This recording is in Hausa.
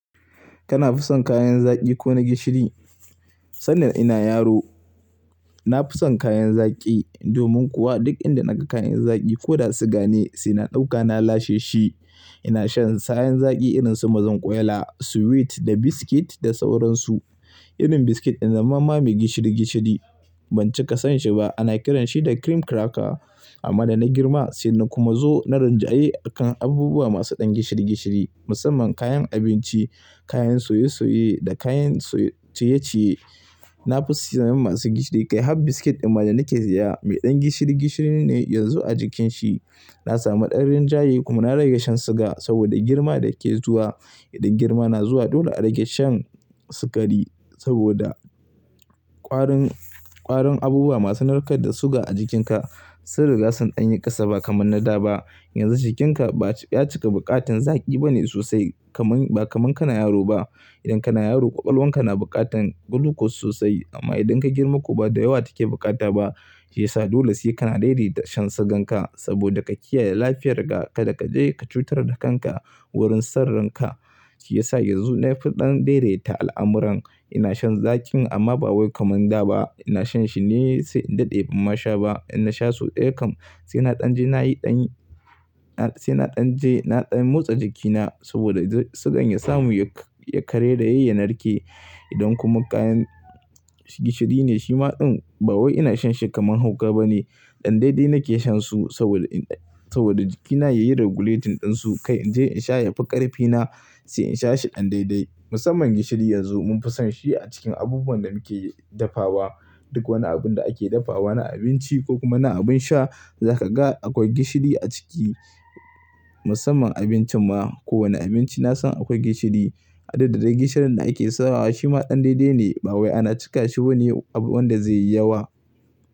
Kana fison kayan zaki ko na gishiri? Sanda ina yaro na fison kayan zaki. Domin kuwa duk inda naga kayan zaki ko da su gane sai na ɗauka na lashe shi. Ina shan sa'yan zaki irin su mazan ƙwalya, sweet da biscuit da sauransu. Irin biscuit in zan ma ma mai gishiri gishiri ban cika son shi ba. Ana kiran shi da cream cracker. Amma da na girma sai na kuma zo na rinjaye akan abubuwa masu ɗan gishiri gishiri. Musamman kayan abinci, kayan soye soye da kayan ciyeciye. Na fusiyan masu gishiri. Kai har biscuit in majen nake saya mai ɗan gishiri gishiri ne yanzu a jikin shi. Na samu ɗan rinjaye kuma na rage shan suga saboda girma da ke zuwa. Idan girma na zuwa dole a rage shan sukari saboda ƙwarin, ƙwarin abubuwa masu narkar da suga a jikinka sun rigasa ɗan yin ƙasa ba kamar na da ba. Yanzu jikinka ba ya cika buƙatan zaki bane sosai kamar, ba kamar kana yaro ba. Idan kana yaro ƙwakwal wanka na buƙatan glucose sosai. Amma idan kai girma kuwa ba da yawa take bukata ba. Shi yasa dole sai kana daidaita shan suganka saboda ka kiyaye lafiyar ka da ka je ka cutar da kanka wurin sirrinka. Shi yasa yanzu na fi ɗan daidaita al'amuran. Ina shan zakin amma ba wai kamar da ba. Ina shan shi ne sai in daɗe ban ma sha ba. In na sha sau ɗaya kam sai na ɗan je na yi ɗan, sai na ɗan je na ɗan motsa jikina saboda sugan ya samu ya, ya karai raye ya narke. Idan kuma kayan gishiri ne shi ma ɗan ba wai ina shan shi kamar hauka bane. Ɗan daidai nake shan su saboda, saboda jikina yayi regulating ɗin su. Kai in je in sha yafi ƙarfina sai in sha shi ɗan daidai. Musamman gishiri yanzu mun fi son shi a cikin abubuwan da muke dafawa. Duk wani abun da ake dafawa na abinci ko kuma na abin sha za ka ga akwai gishiri a ciki. Musamman abincin ma. Ko wani abinci na san akwai gishiri. Hada da dai gishirin da ake sawa shi ma ɗan daidai ne ba wai ana cika shi bane abu wanda zai yi yawa.